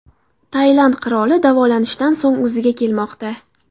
Tailand qiroli davolanishdan so‘ng o‘ziga kelmoqda .